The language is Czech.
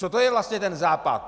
Co to je vlastně ten Západ?